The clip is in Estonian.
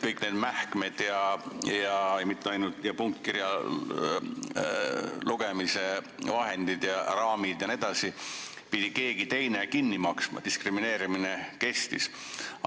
Kõik need mähkmed, ka punktkirja lugemise vahendid, raamid jne pidi keegi teine kinni maksma, diskrimineerimine kestis.